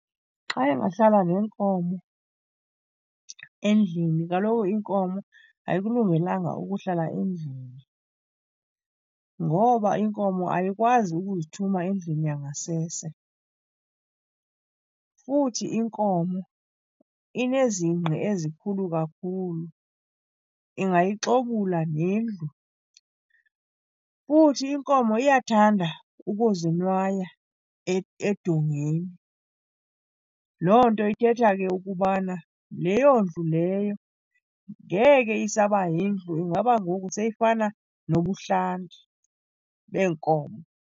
Xa engahlala nenkomo endlini, kaloku inkomo ayikulungelanga ukuhlala endlini ngoba inkomo ayikwazi ukuzithuma endlini yangasese. Futhi inkomo inezingqi ezikhulu kakhulu, ingayixobula nendlu. Futhi inkomo iyathanda ukuzonwaya edongeni. Loo nto ithetha ke ukubana leyo ndlu leyo ngeke isaba yindlu, ingaba ngoku seyifana nobuhlanti beenkomo.